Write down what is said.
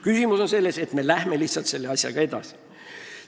Küsimus on lihtsalt selles, kas me läheme selle asjaga edasi.